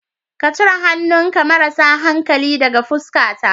Ka cire hannunka marasa hankali daga fuskata.